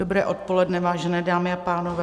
Dobré odpoledne, vážené dámy a pánové.